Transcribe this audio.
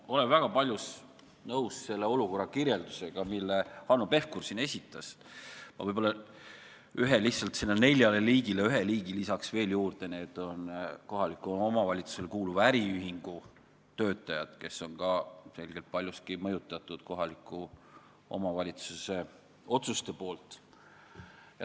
Ma olen väga paljus nõus selle olukorra kirjeldusega, mille Hanno Pevkur esitas, aga nendele neljale liigile lisaks ühe veel juurde, need on kohalikule omavalitsusele kuuluva äriühingu töötajad, kes on ka ilmselgelt paljuski kohaliku omavalitsuse otsustest mõjutatud.